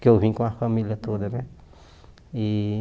Que eu vim com a família toda, né? E